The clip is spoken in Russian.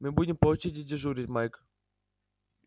мы будем по очереди дежурить майк